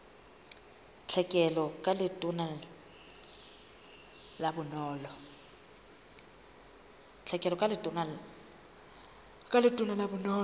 tlhekelo ka letona la bonono